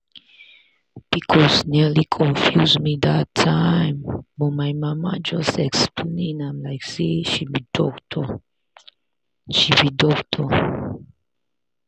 pcos nearly confuse me that time but my mama just explain am like say she be doctor. she be doctor.